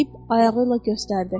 Deyib ayağı ilə göstərdi.